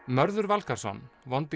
Mörður Valgarðsson vondi